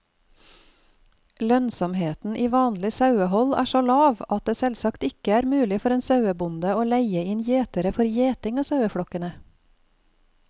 Lønnsomheten i vanlig sauehold er så lav at det selvsagt ikke er mulig for en sauebonde å leie inn gjetere for gjeting av saueflokkene.